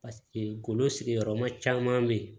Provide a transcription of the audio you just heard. kolo sigiyɔrɔma caman be yen